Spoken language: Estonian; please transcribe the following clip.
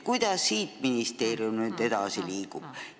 Kuidas ministeerium siit edasi liigub?